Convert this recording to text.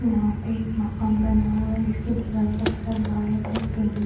यहाँ पे एक मकान बना हुआ है जिसकी दिवाल (दीवार) का कलर व्हाइट और पिंक --